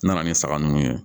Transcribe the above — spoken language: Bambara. N nana ni saga ninnu ye